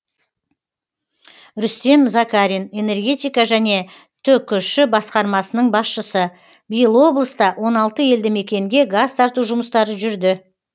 рүстем закарин энергетика және түкш басқармасының басшысы биыл облыста он алты елді мекенге газ тарту жұмыстары жүрді